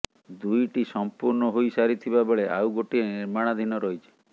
ଦୁଇଟି ସଂପୂର୍ଣ୍ଣ ହୋଇସାରିଥିବା ବେଳେ ଆଉ ଗୋଟିଏ ନିର୍ମାଣାଧୀନ ରହିଛି